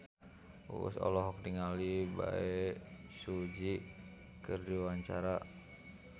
Uus olohok ningali Bae Su Ji keur diwawancara